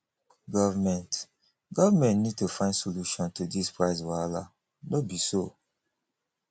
government government need to find solution to this price wahala no be so